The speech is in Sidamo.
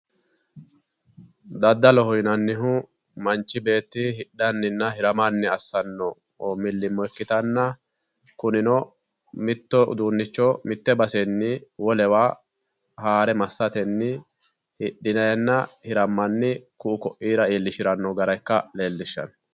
Daddalloho yinnannihu manchi beetti hidhaninna hiramanni assano milimilo ikkittanna kunino mito uduunicho mite basenni wolewa haare massatenni hidhinenna hiramanni ku"u koira iillishirano gara ikka leellishano.